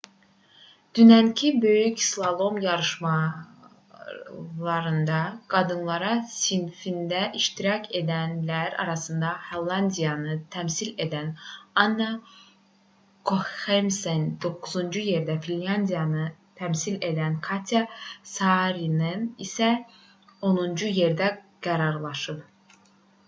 dünənki böyük slalom yarışlarında qadınlar sinfində iştirak edənlər arasında hollandiyanı təmsil edən anna koxemsen 9-cu yerdə finlandiyanı təmsil edən katya saarinen isə 10-cu yerdə qərarlaşıb